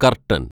curtain‍